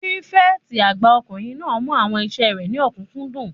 Pírífẹ̀tì àgbà ọkùnrin náà mú àwọn iṣẹ́ rẹ̀ ní òkúnkúndùn